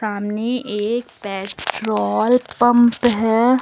सामने एक petrol pump है।